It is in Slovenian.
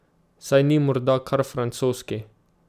Saj ni morda kar francoski ...